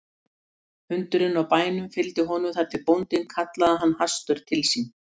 Hundurinn á bænum fylgdi honum þar til bóndinn kallaði hann hastur til sín.